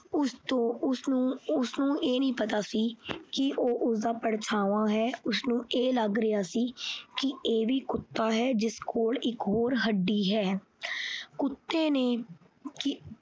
ਉਸ ਤੋਂ ਉਸਨੂੰ ਅਹ ਉਸਨੂੰ ਇਹ ਨਹੀਂ ਪਤਾ ਨਹੀਂ ਕਿ ਇਹ ਉਸਦਾ ਪਰਛਾਵਾ ਹੈ, ਉਸਨੂੰ ਇਹ ਲੱਗ ਰਿਹਾ ਸੀ ਕਿ ਇਹ ਵੀ ਕੁੱਤਾ ਹੈ, ਜਿਸ ਕੋਲ ਹੱਡੀ ਹੈ। ਕੁੱਤੇ ਨੇ